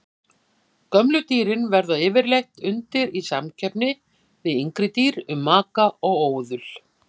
Gömlu dýrin verða yfirleitt undir í samkeppni við yngri dýr um maka og óðul.